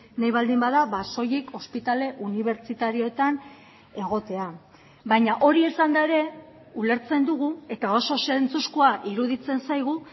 nahi baldin bada soilik ospitale unibertsitarioetan egotea baina hori esanda ere ulertzen dugu eta oso zentzuzkoa iruditzen zaigu